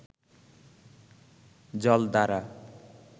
জল দ্বারা